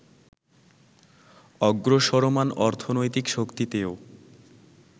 অগ্রসরমাণ অর্থনৈতিক শক্তিতেও